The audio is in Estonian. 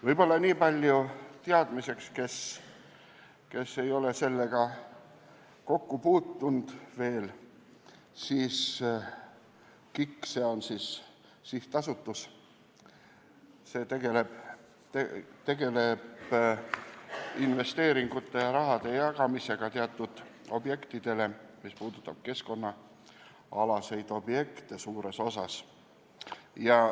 Võib-olla niipalju teadmiseks neile, kes ei ole selle teemaga veel kokku puutunud, et KIK, s.o see sihtasutus, tegeleb investeeringute ja raha jagamisega teatud objektidele, suures osas just keskkonnaobjektidele.